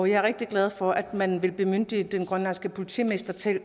jeg er rigtig glad for at man vil bemyndige den grønlandske politimester til at